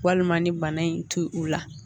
Walima ni bana in ti ula